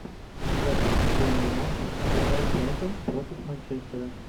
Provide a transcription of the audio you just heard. запись футбольного матча апл брайтон против манчестера